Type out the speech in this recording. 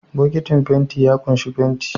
Bokitin fenti ya ƙunshi fenti